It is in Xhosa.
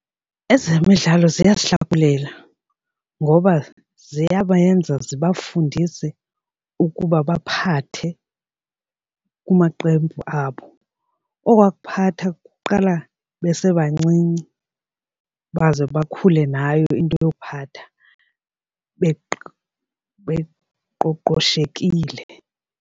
Ezemidlalo ziyahlakulela ngoba ziyabenza ziba fundise ukuba baphathe kumaqembu abo. Okwakuphatha kuqala besebancinci baze bakhule nayo into yokuphatha beqoqoshekile.